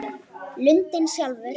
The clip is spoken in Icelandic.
Lundinn sjálfur